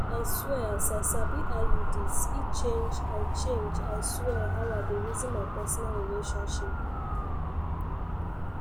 i swear as i sabi iuds e change i change i swear how i dey reason my personal relationship